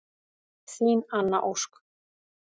Þín Anna Ósk.